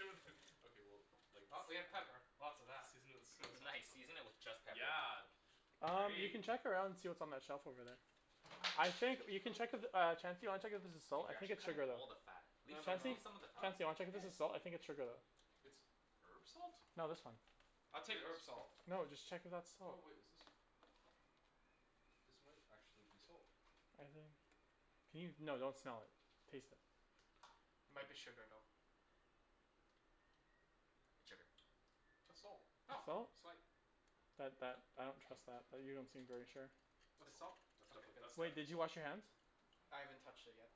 it with okay well like s- Well, I we mean have pepper. Lots of that. Season it with soy sauce or Nice something. season it with just pepper. Yeah. Um you can Great. check around see what's on that shelf over there. I think you can check if uh Chancey wanna check if there's salt? Dude I you're think actually it's cutting sugar though. all the fat. Leave No some no no, Chancey? leave some of the Huh? fat. Chancey, wanna I check if this did. is salt? I think it's sugar though. It's herb salt? No this one. I'll take This? herb salt. No, just check if that's Oh salt. wait, is this? This might actually be salt. I think. Can you? No, don't smell it. Taste it. Might be sugar though. It's sugar. That's salt. It's Oh, salt? sweet. That that I don't trust that. That you don't seem very sure. That's It's salt. salt? That's Okay definitely good that's Wait, definitely did you salt. wash your hands? I haven't touched it yet.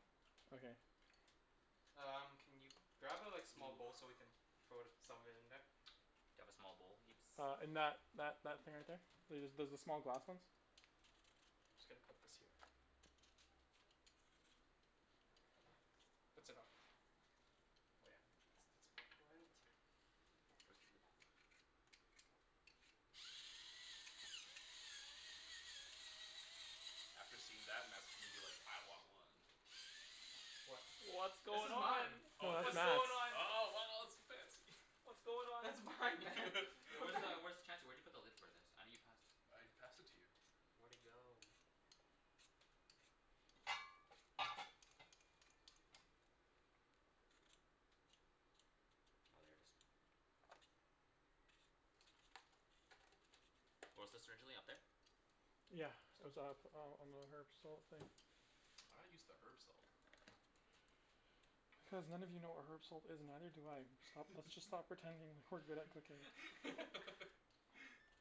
Okay. Um can you grab a like small bowl so we can throw some of it in there? Do you have a small bowl, Ibs? Uh in that that that thing right there. There's the small glass ones. Just gotta put this here. That's enough. Oh yeah. It's it's plenty. Where's the lid? After seeing that Matt's gonna be like "I want one!" What? What's This going is on? mine. Yo Oh it that's is? What's nuts. going on? Oh wow it's fancy. What's going on? That's It's mine. mine man. Hey What where's the the hell? where's t- Chancey where'd you put the lid for this? I know you passed I passed it to you. Where'd it go? Oh, there it is. Where was this originally? Up there? Yeah. it's up on on the herb salt thing. Why not use the herb salt? Cuz none of you know what herb salt is and neither do I. Sto- let's just stop pretending that we're good at cooking.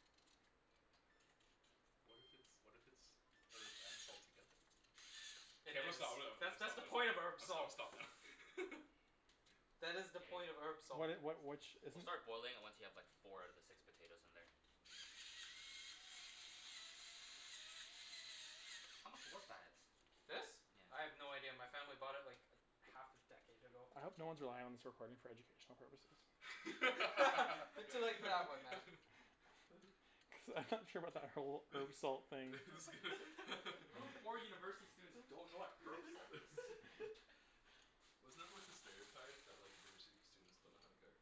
What if it's what if it's herb and salt together? K Hey there I'm it gonna is. stop I'm gonna That's that's stop the point of herb I'm gonna salt. stop now That is the point of Hey. herb salt. What it what which is We'll it? start boiling it once you have like four out of the six potatoes in there. How much was that? This? I Yeah. have no idea. My family bought it like a half a decade ago. I hope no one's relying on this recording for educational purposes. You're too late for that one man. Cuz I'm not sure about that whole herb salt thing. Just gonna How come four university students don't know what herb salt is? Wasn't that like the stereotype? That like university students don't know how to cook?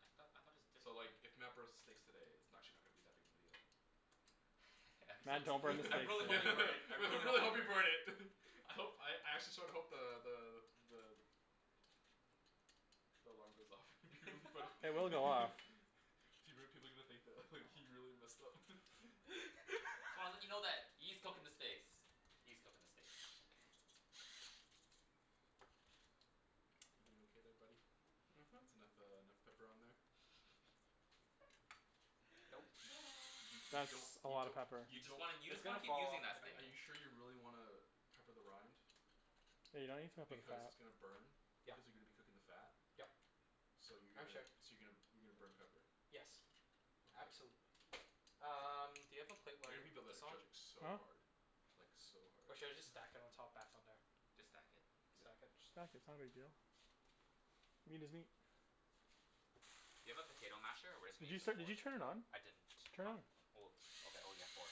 I thought I thought it was So different like if Matt burns the steaks today it's n- actually not gonna be that big a deal. I'm so Man, don't bring the t- I I States really hope you into this. burn it. I really hope hope you you burn burn it. it. I hope I actually sorta hope the the the the The alarm goes off. It would be funny It will go off. People people are gonna think that he Oh really messed up So I wanna let you know that E's cooking the steaks. E's cooking the steaks. You doin' okay there buddy? Mhm. Mhm. It's enough uh enough pepper on there? Nope. Y- you you That's don't a you lotta don't pepper. You you just wanna you It's just wanna gonna keep fall off using don't in that the sting. are cooking. you sure you really wanna pepper the rind? Yeah, you don't need to pepper the Because fat. it's gonna burn. Yeah. Cuz you're gonna be cooking the fat. Yep. So you're I'm gonna sure. so you're gonna you're gonna burn pepper. Yes, Okay. absolutely. Um do you have a plate I where I hear can people put that are this on? judging so Huh? hard. Like so hard. Or should I just stack it on top back on there? Just stack it. Yeah. Stack it? Just stack it, it's not a big deal. I mean doesn't he Do you have a potato masher or we're just Did gonna you use a set did fork? you turn it on? I didn't. Turn Not it. oh okay oh yeah four.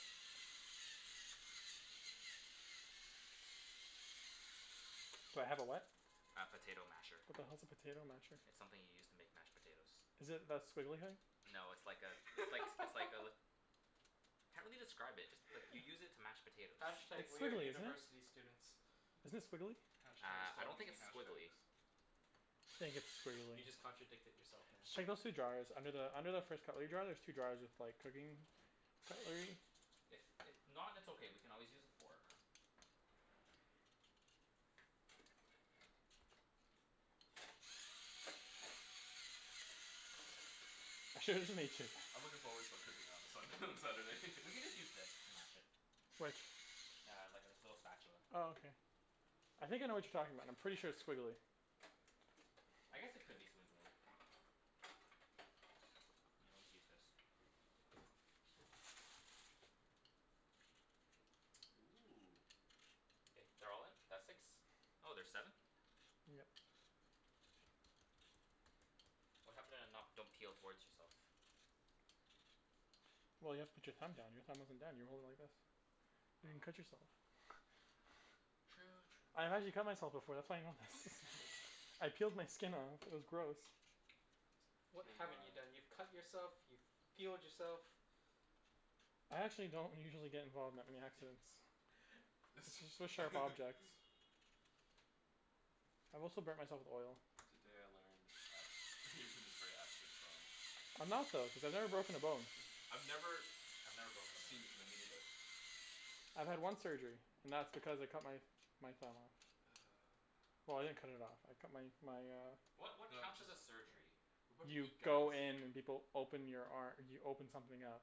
Do I have a what? A potato masher. What the hell's a potato masher? It's something you use to make mashed potatoes. Is it that squiggly thing? No it's like a it's likes it's like a Can't really describe it, just like you use it to mash potatoes. Hash tag It's we're squiggly, isn't it? university students. Isn't it squiggly? Hash tag Uh I stop don't think using it's hash squiggly. tags. I just think it's squiggly You just contradicted yourself man. Just check those two drawers. Under the under the first cutlery drier there's two drawers with like cooking cutlery. If if not it's okay, we can always use a fork. I'm sure it doesn't mix it. I'm looking forward to cooking on Sun- on Saturday. We can just use this to mash it. Which? Yeah, like this little spatula. Oh okay. I think I know what you're talking about, I'm pretty sure it's squiggly. I guess it could be squiggly. I always use this. Ooh. K, they're all in? That's six? Oh, there's seven? Yeah. What happened to not don't peel towards yourself? Well you have to put your thumb down. Your thumb wasn't down. You were holding it like this. You're gonna Oh cut yourself. True I've true actually cut myself true before. That's why I know this. Actually? I peeled my skin off. It was gross. You What T haven't m you i done? You've cut yourself, you've peeled yourself. I actually don't usually get involved with that many accidents. With sharp objects. I've also burnt myself with oil. Today I learned that Ibrahim is very accident prone. I'm not though, cuz I've never broken a bone. I've never I've never broken a bone Seen, either. no me neither. I've had one surgery, and that's because I cut my my thumb off. Well I didn't cut it off, I cut my my uh What what counts as a surgery? What are You you guys go in and people open your ar- you open something up.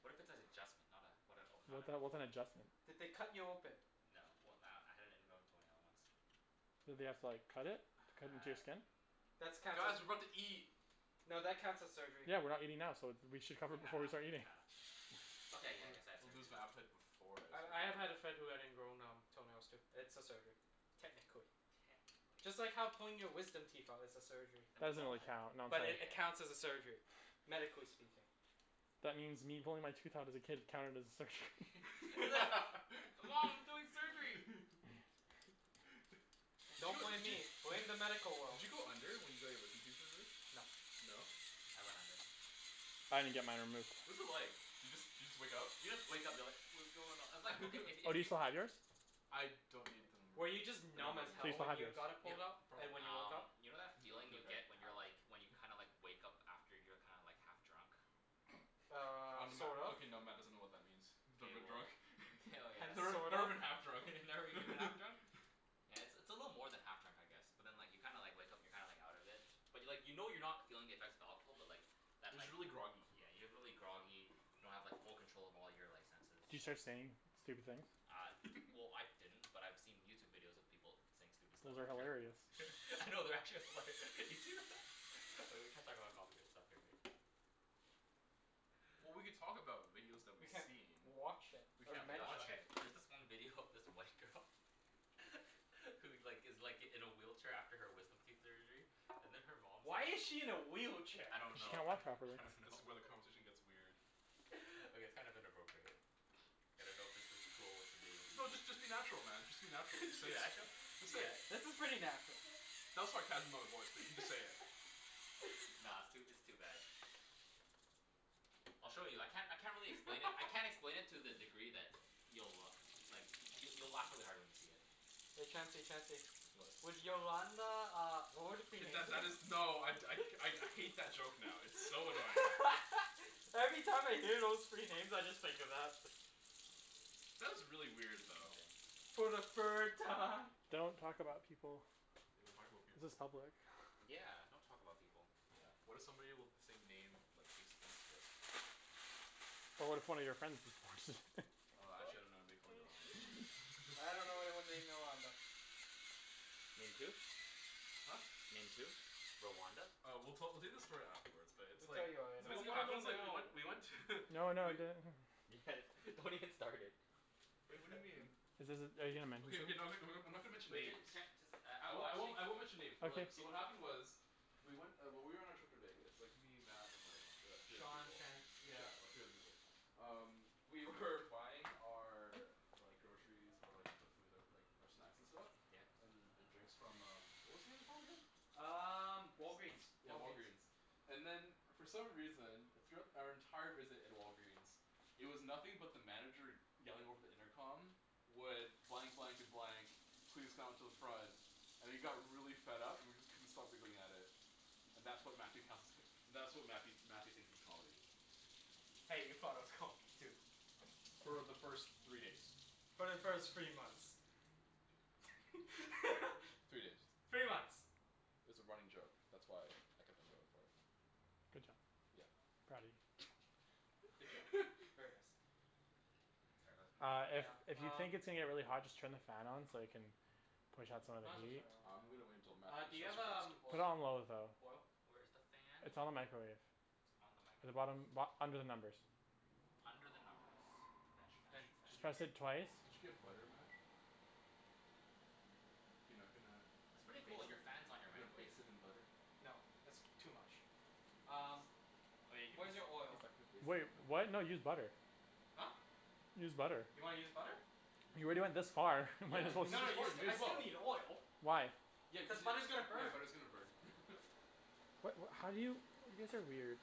What if it's an adjustment? Not uh what a not What the an hell, what's open? an adjustment? Did they cut you open? No, well uh I had an ingrown toenail once. Did they have to like cut it? Cut into your Uh skin? That's counts Guys, as we're about to eat. no that counts as surgery. Yeah, we're not eating now, so th- we should cover Yeah, it before we start eating. yeah. I'll Okay, yeah I guess I had I'll surgery lose my then. appetite before I I start I have had a eating. friend who had ingrown um toenails too. It's a surgery. Techincally. Technically. Just like how pulling your wisdom teeth out is a surgery. Then That we've doesn't all really had count, But it yeah. counts as a surgery, medically speaking. That means me pulling my tooth out as a kid counted as a surgery. Hey mom we're doing surgery! Did Don't you blame did you me, blame did you the medical did world. you go under when you got your wisdom teeth removed? No. No? I went under. I didn't get mine removed. What was it like? Do you just do you just wake up? You just wake up you're like "What's going on?" It's like okay if Oh if do you you still have yours? I don't need them Were you removed. just They're not numb as bugging Do you hell still me. when have yours? you got it Yeah, pulled out? And probably. when you woke Um up? you know that feeling you get when you're like when you kinda like wake up after you're kinda like half drunk? Um, Um Matt sort of. okay now Matt doesn't know what that means. K, Never been well, drunk. k oh Never yes. sort never of. been half drunk. Never even half drunk? Yeah, it's a little more than half drunk I guess. But then like you kinda like wake up and you're kinda like out of it. But like you know you're not feeling the effects of alcohol but like But Just like y- really groggy. yeah, you're really groggy, you don't have like full control of all your like senses. Do you start saying stupid things? Uh well I didn't, but I've seen YouTube videos of people saying stupid stuff Those are after. hilarious. No, they're actually hilar- You see Oh, we can't talk about copyright stuff here, right? Well we could talk about videos that We we've can't seen. watch it We or Okay can't mention watch okay, it. there's this one video of this white girl Who like gives like in a wheelchair after her wisdom teeth surgery. And then her mom Why is she in a wheelchair? I don't Cuz she know can't I walk properly. don't This know is where the conversation gets weird. Okay it's kind of inappropriate. I don't know if this is cool with the video people. No just just be natural man, just be natural. Just say it. natural? Just say Yeah. it. This is pretty natural. That was sarcasm in my voice. But you just say it. Nah, it's too it's too bad. I'll show you. I can't I can't really explain it. I can't explain it to the degree that you'll like you'll you'll laugh really hard when you see it. Hey Chancey Chancey. What? Would Yolanda uh would it be K that that is. No I I I hate that joke now. It's so annoying. Every time I hear those three names I just think of that. That was really weird though. Okay. For the third time. Don't talk about people. We don't talk about This is people. public. Yeah, don't talk about people. Yeah, what if somebody with the same name like takes offense of this? But what if one of your friends just Uh actually I don't know anybody called Yolanda but you I dunno know. anyone named Yolanda. Named who? Huh? Named who? Rwanda? Uh we'll tell we'll tell you the story afterwards, but it's We'll tell like. you So later. No, this I is what wanna happened know it's like we now. went we went to No, no, I do. Guys, don't even start it. Wait what do you mean? Is this are you going to mention Okay okay someone? I'm not gonna mention Wait names. can't just uh I won't I won't I won't mention names but Okay. like so what happened was. We went uh when we were on our trip to Vegas. Me, Matt, and like the three other Sean people. can't yeah. Yeah three other people. Um we were buying our Like groceries, or like the food that like um snacks and stuff Yeah. And and drinks from um what was the name again? Um Walgreens. Yeah Walgreens. Walgreen's. And then for some reason, throughout our entire visit at Walgreens It was nothing but the manager yelling over the intercom Would blank blank and blank Please come to the front And he got really fed up and we just couldn't stop giggling at it. And that's what Matthew counts as that's what Matthew Matthew thinks is comedy. Hey, you thought it was comedy, too. For the first three days. For the first three months. Three days. Three months. It's a running joke. That's why I kept on going for it. Good job. Yeah. Proud of you. Good job. Very nice. Uh Yeah, if if you um. think it's gonna get really hot just turn the fan on so you can Push out some of Might as the well heat. turn it on I'm gonna wait until now. Matt Uh do you have um Put it oil on low though. oil? Where's the fan? It's on the microwave. It's on In the the microwave. bottom bo- under the numbers. Under the numbers. Did French you did French. French. you did Just press it twice. you get butter, Matt? You're not gonna It's pretty baste cool, your not fan's gonna on baste your it in microwave. butter? No, that's too much. Um, where's He's your he's oil? not gonna baste Wait, it in what? butter. No use butter. Huh? Use butter. You wanna use butter? You already went this far, might Yeah, as you well can use No, you s- I still need just oil. Why? Yeah cuz Cuz you butter's gonna yeah burn. butter's gonna burn What what how do you? You guys are weird.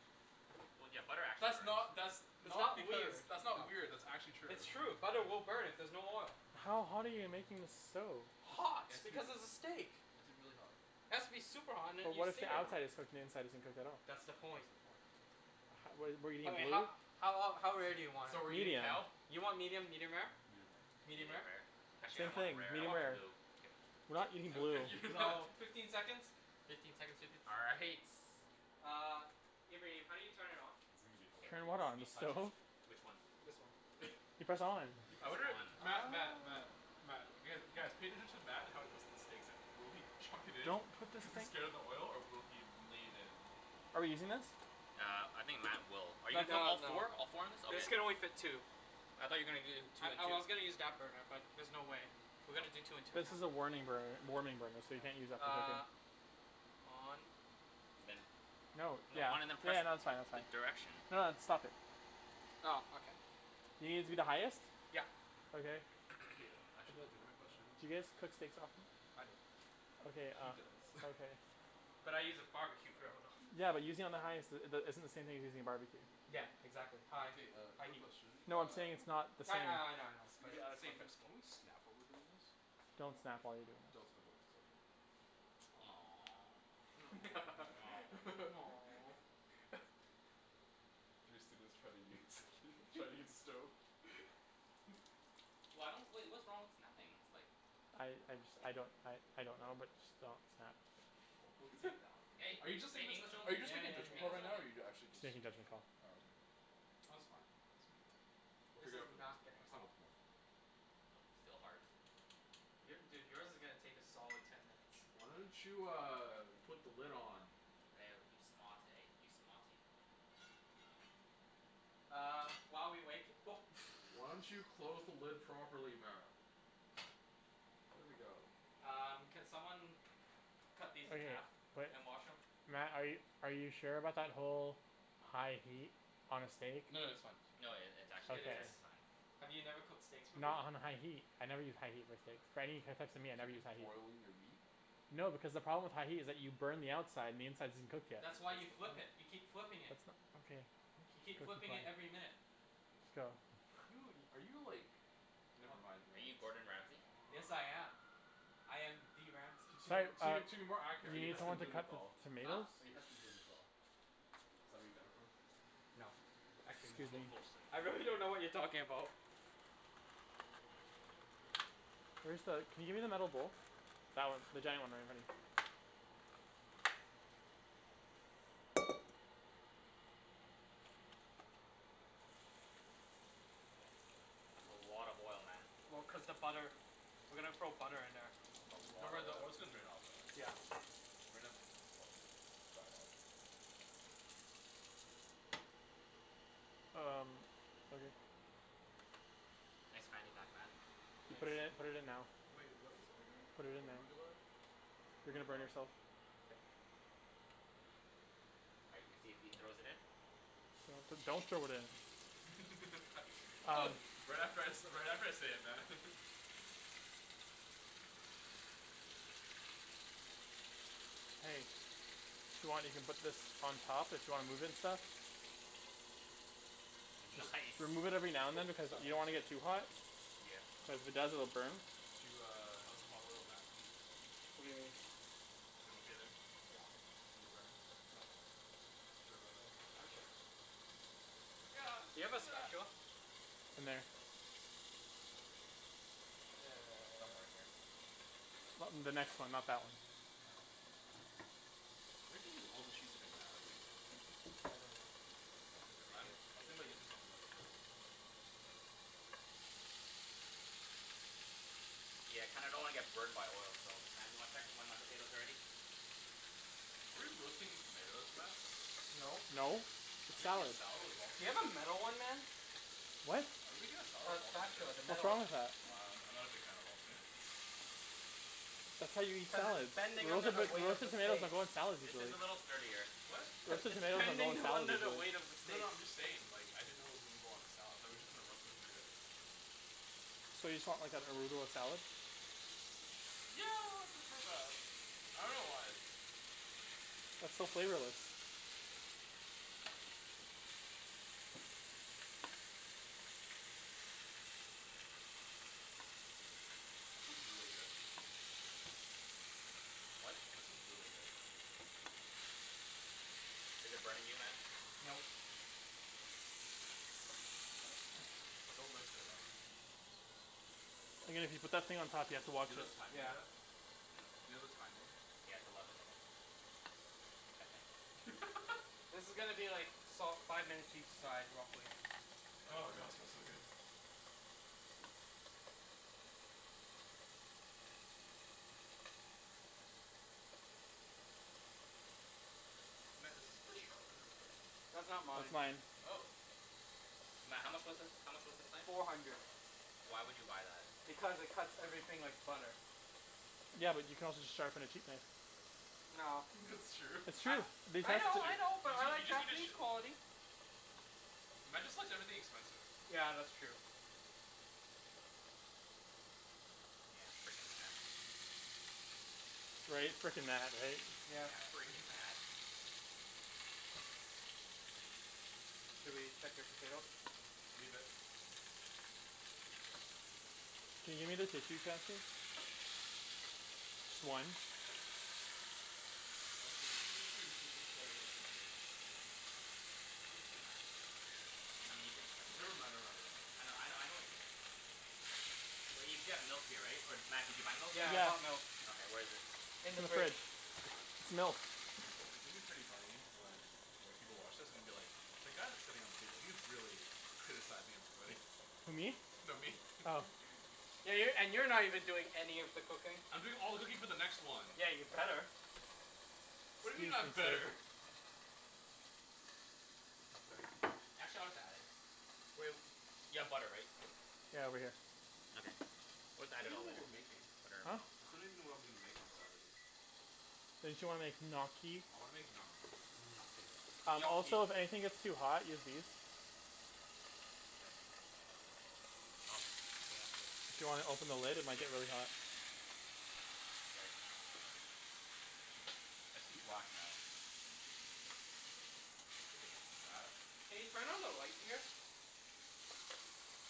That's not that's It's not not because weird. that's not weird that's actually true. It's true. Butter will burn if there's no oil. How hot are you making this stove? Just it Hot, has to be because it it's a steak. has to be really hot. It has to be super hot and But then you what if the sear it. outside is cooked and the inside isn't cooked at all? That's the That's point. the point. What do you mean? I mean Blue? how how ol- how rare do you want Medium. it? You want medium, medium rare? Medium rare Medium Medium rare? rare. Actually I Same thing, want medium rare rare. or blue. Kidding. We're not eating blue. So, fifteen seconds? Fifteen seconds will do all right. Uh, Ibrahim, how do you turn it on? It's gonna be Turn what hilarious. on, the stove? Which one? This one. You press on. I wonder Matt Matt Oh. Matt Matt guys cater to Matt how he puts the steaks in. Will he chuck it in? Don't put this Cuz he's thing scared of the oil or will he lay it in? Are we using this? Uh I think Matt will. Are you put No, all no. four? All four in it? This can Okay. only fit two. I thought you're gonna do I two and I two. was gonna use that burner, but there's no way. We're gonna do two and two now. This is a warning burner warming burner so you can't use that for cooking. Uh On Then. No. Yeah. No, Yeah no on and that's fine then that's fine. press the direction. No it's stop it. Oh, okay. You gonna use the highest? Yep. Okay. K, I actually have a legitimate question. D'you guys cook steaks often? I don't. Okay He uh does. okay. But I use a barbecue grill though. Yeah but using on the highest uh the isn't the same thing as using a barbecue. Yeah, Yeah man. exactly, high K uh high quick heat. question No I'm uh saying it's not the same. Yeah, yeah. I know I know. Maybe out of Same context. principle. Can we snap while we're doing this? Don't snap while you're doing Don't this. snap to be safe. Three students try to use try to use stove. Why don't wait what's wrong with snapping ? It's like I I just I don't I I don't know but just don't snap. Wo bu zhi dao Hey, Are you are just you it's just saying? are you Yeah just making a yeah yeah judgment call right yeah now or are you actually just Safety judgment call. Oh okay, Oh it's fine. We'll This figure is out for next not time. getting Next time hot. will be more fun. Still hard. Your dude yours is gonna take a solid ten minutes. Why don't you uh put the lid on? Woah you smart eh you smarty. Uh while we wait Why don't you close the lid properly Matt? There we go. Um, can someone cut Okay, these in half wait, and wash them? Matt are you are you sure about that whole high heat on a steak? No that's fine. No it it's It actually Okay. is. just fine. Have you never cooked steaks before? Not on a high heat. I never use high heat on steaks. For any types of meat I Do never you use just high heat. boil your meat? No because the problem with high heat is that you burn the outside and the inside isn't cooked yet. That's why you flip it. You keep flipping it. That's no- okay, You keep cook flipping it every your minute. Just go. Are you in are you like never mind. Are you Yes I Gordon am. Ramsay? I am the Ramsay. To Si- uh, to to be more accurate, are we you need Heston someone to cut the Blumenthal? Huh? tomatoes? Are you Heston Blumenthal? Is that where you got it from? No, actually no. Excuse me. Bull bull shit. I really don't know what you're talking about. Where's the can you give me the metal bowl? That one. The giant one right in front of you. That's a lot of oil, Matt. Well cuz the butter. We're gonna throw butter in there. It's a Don't worry lot the of oil's gonna oil. drain out though right? Yeah. We probably dry it off. Um, okay. Thanks man you got that? You put it in Nice. put it in now. Wait, what else are we doing? Put it in now. Arugula? You're gonna Arugula? burn yourself. All right let's see if he throws it in. Do- do- don't throw it in. Um. Right after I say right after I say it, Matt. Hey. If you want, you can put this on top. If you wanna move it and stuff. Just That's nice remove it every now and then cuz you don't want to get too hot. Yeah. Cuz the burn. Do uh how's the hot oil Matt? What do you mean? You doin' okay there? You get burned? Nope. Sure about that? I'm sure. Do you have a spatula? In there. Somewhere in here. In the next one, not that one. You're not gonna use all the cheese today Matt are you? I don't know. Because I'm I was thinking about using some of that for other stuff. Yeah, I kinda don't wanna get burned by oil so Matt do you wanna check when my potatoes are ready? Are we roasting tomatoes, Matt? No. No, Are it's we making a salad. salad of all Do you have a tomatoes? metal one man? What? Are we making a salad A of all spatula, tomatoes? the What's metal wrong one. with that? I'm I'm not a big fan of all tomatoes. That's how you eat Cuz it's salads. bending under Roasted the like weight of the roasted tomatoes steak. don't go in salads This regularly. is a little sturdier. What? Cuz Roasted it's tomatoes don't go in bending salads under the regularly. weight of the No steak. no I'm just saying like I didn't know it was gonna go on a salad. Thought we were just gonna roast the tomatoes. So you just want like an arugula salad? Yeah I'd prefer that. I dunno why. That's so flavorless. That smells really good. What? That smells really good. Is it burning you Matt? No. Don't lift it out then. Just just let it put that thing on top here to wash it. Yeah. Do you have a timing? Yeah, it's eleven minutes. Okay. I think. This is gonna be like salt five minutes each side real quick. Oh god smells so good. Matt, is this the sharpener for it? That's not That's mine. mine. Oh. Matt, how much was this? How much was this knife? Four hundred. Why would you buy that? Because it cuts everything like butter. Yeah, but you can also just sharpen a cheap knife. No. That's true. It's I true. We I know That's tested true. I it. know You but I just you like just need to Japanese sh- quality. Matt just likes everything expensive. Yeah, that's true. Yeah, freaking Matt. Right? Freaking Matt, right? Yeah. Yeah, Freaking Matt. freaking Matt. Should we check your potatoes? Leave it. Can you? Sure. Just one. Also I'm pretty sure you're supposed to cut it up into small chunks. As long as you can mash it first. I mean you can Never like. mind, I never mind, know I know never mind. I know what you mean. Wait, you still have milk here right? Or did Matt did you buy milk? Yeah I bought milk. Okay, where is it? In In the the fridge. fridge. Milk. It's gonna be pretty funny when like people watch this and be like "The guy that's sitting at the table, he's really criticizing everybody." Who me? No, me. Oh. Yeah, you're and you're not even doing any of the cooking. I'm doing all the cooking for the next one. Yeah, you'd better. What He's do you being mean I'm sincere. better? Y'all chill we got it. You have butter right? Yeah over here. Okay, I still don't put even know what we're making. that Huh? I still don't even know what I'm making on Saturday. Didn't you wanna make gnocchi? I wanna make gnocchi. Gnocchi. Gnocchi. Also if anything gets too hot, use these. Do you wanna open the lid? It might get really hot. I see black, Matt. Matt? Can you turn on the light here?